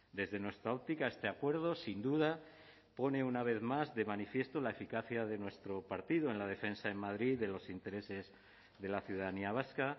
desde nuestra óptica este acuerdo sin duda pone una vez más de manifiesto la eficacia de nuestro partido en la defensa en madrid de los intereses de la ciudadanía vasca